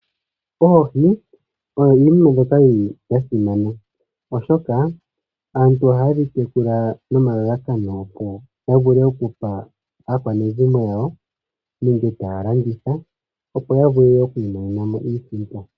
Oohi oyo iinima mbyoka yili ya simana, oshoka aantu ohaye dhi tekula nomalalakano opo ya vule okupa aakwanezimo yawo nenge taya landitha, opo ya vule oku imonena mo iisimpo.